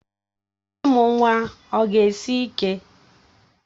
Ịmụ nwa ọ ga-esi ike?